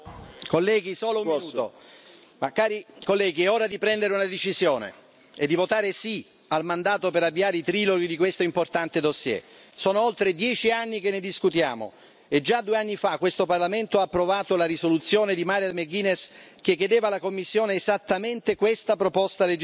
Signor Presidente, onorevoli colleghi, è ora di prendere una decisione e di votare sì al mandato per avviare i triloghi di questo importante fascicolo. Sono oltre dieci anni che ne discutiamo e già due anni fa questo Parlamento ha approvato la risoluzione di Mairead McGuinness che chiedeva alla Commissione esattamente questa proposta legislativa